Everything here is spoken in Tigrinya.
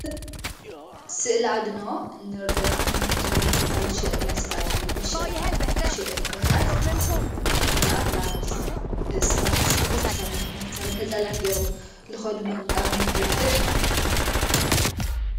ሥእለዓድኖ ንለና ንግዲ ናይ ቦታ ሸጠናይ ሥልዓድኖ በሸጣ ሸጠሉ ባኅታት እና ናብ ሰባት ብተሣን ትናሣሎም ነጸላ ገይሮም ልኸዱ መንቃብ መንገድለን እዮም።